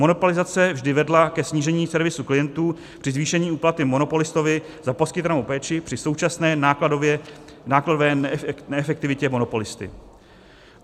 Monopolizace vždy vedla ke snížení servisu klientů při zvýšení úplaty monopolistovi za poskytovanou péči při současné nákladové neefektivitě monopolisty.